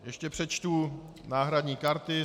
Ještě přečtu náhradní karty.